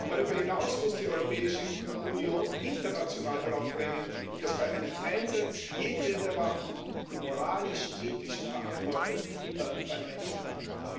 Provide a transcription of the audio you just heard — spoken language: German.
Darüber hinaus muss die Europäische Union international darauf drängen, dass bei einem Einsatz jedweder Waffen die moralisch ethische Verantwortung immer beim Menschen bleibt.